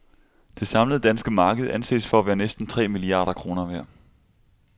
Det samlede danske marked anses for at være næsten tre milliarder kroner værd.